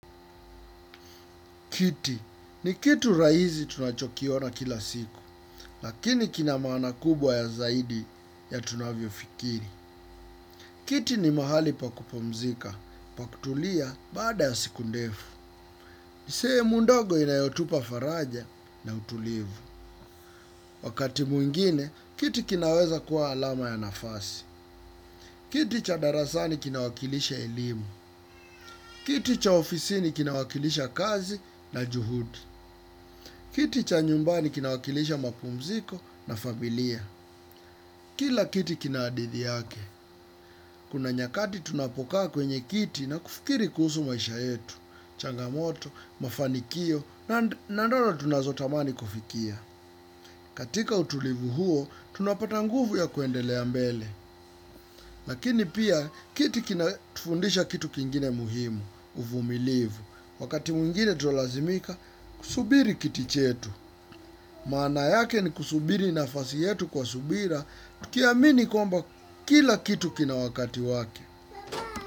Kiti ni kitu rahisi tunachokiona kila siku, lakini kina maana kubwa ya zaidi ya tunavyofikiri. Kiti ni mahali pa kupumzika, pa kutulia baada ya siku ndefu. Ni sehemu ndogo inayotupa faraja na utulivu. Wakati mwingine, kiti kinaweza kuwa alama ya nafasi. Kiti cha darasani kinawakilisha elimu. Kiti cha ofisini kinawakilisha kazi na juhudi. Kiti cha nyumbani kinawakilisha mapumziko na familia. Kila kiti kina hadithi yake. Kuna nyakati tunapokaa kwenye kiti na kufikiri kuhusu maisha yetu. Changamoto, mafanikio na ndoto tunazotamani kufikia. Katika utulivu huo, tunapata nguvu ya kuendelea mbele. Lakini pia, kiti kinatufundisha kitu kingine muhimu, uvumilivu. Wakati mwingine tulazimika, kusubiri kiti chetu. Maana yake ni kusubiri nafasi yetu kwa subira, tukiamini kwamba kila kitu kina wakati wake.